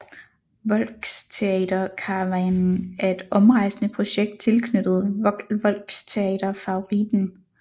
Volxtheaterkarawanen er et omrejsende projekt tilknyttet Volxtheater Favoriten